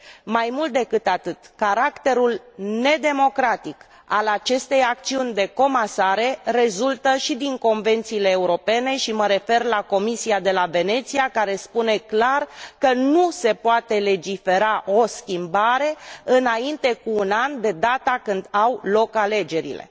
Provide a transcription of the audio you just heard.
Mai mult decât atât, caracterul nedemocratic al acestei acțiuni de comasare rezultă și din convențiile europene și mă refer la Comisia de la Veneția care spune clar că nu se poate legifera o schimbare înainte cu un an de data când au loc alegerile.